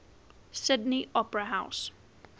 sydney opera house